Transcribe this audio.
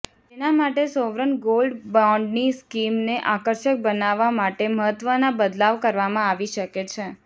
જેના માટે sovereign gold બોન્ડની સ્કીમને આકર્ષક બનાવવા માટે મહત્વના બદલાવ કરવામાં આવી શકે છે